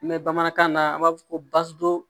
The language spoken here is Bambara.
N mɛ bamanankan na an b'a fɔ ko